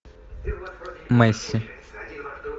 месси